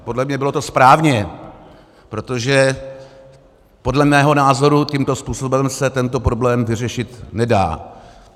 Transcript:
A podle mě to bylo správně, protože podle mého názoru tímto způsobem se tento problém vyřešit nedá.